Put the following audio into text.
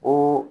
O